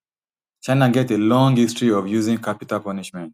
china get a long history of using capital punishment